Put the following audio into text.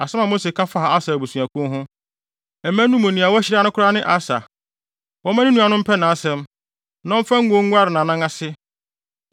Asɛm a Mose ka faa Aser abusuakuw ho: “Mma no mu nea wɔahyira no koraa ne Aser; wɔmma ne nuanom mpɛ nʼasɛm, na ɔmfa ngo nguare nʼanan ase.